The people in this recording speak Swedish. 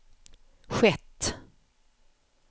skett